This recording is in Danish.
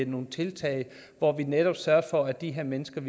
nogle tiltag hvor vi netop sørgede for at de her mennesker